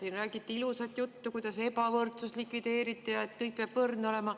Siin räägiti ilusat juttu, kuidas ebavõrdsus likvideeritud, kõik peab võrdne olema.